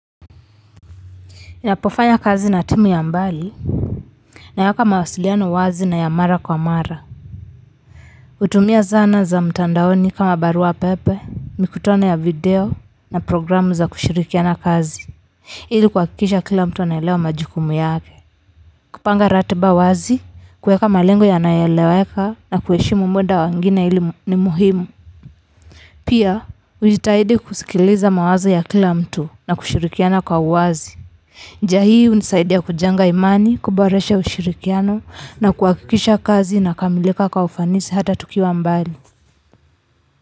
Ninapofanya kazi na timu ya mbali naweka mawasiliano wazi na ya mara kwa mara kutumia zana za mtandaoni kama barua pepe, mikutano ya video na programu za kushirikiana kazi ili kuhakikisha kila mtu anaelewa majukumu yake kupanga ratiba waz, i kuweka malengo yanayoeleweka na kuheshimu muda wa wengine, hili ni muhimu pia hujitahidi kusikiliza mawazo ya kila mtu na kushirikiana kwa uwazi njia hii hunisaidia kujenga imani, kuboresha ushirikiano na kuhakikisha kazi inakamilika kwa ufanisi hata tukiwa mbali.